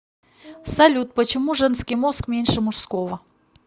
салют почему женский мозг меньше мужского